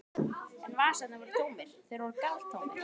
En vasarnir voru tómir, þeir voru galtómir.